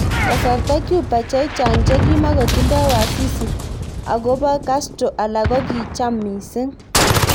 Kasarta Cuba chechang chekimukotindo wasisi ak kobo Castro, alak kokicham mising.